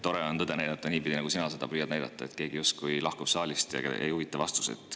Tore on tõde näidata niipidi, nagu sina seda püüdsid näidata, et keegi justkui lahkus saalist ja teda ei huvita vastused.